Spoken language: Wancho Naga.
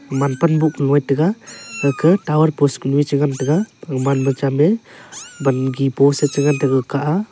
man pan bow ngan tega gakah tower post ka chanu a che ngan tega gaman ma cham a vangi post e che ngan tega kah ka aa.